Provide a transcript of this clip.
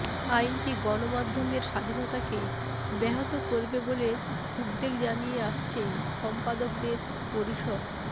আইনটি গণমাধ্যমের স্বাধীনতাকে ব্যাহত করবে বলে উদ্বেগ জানিয়ে আসছে সম্পাদকদের পরিষদ